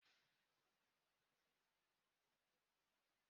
Ọ ga-aga nyocha HIV echi